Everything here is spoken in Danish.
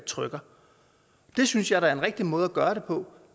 trykke det synes jeg da er en rigtig måde at gøre det på